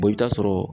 i bɛ taa sɔrɔ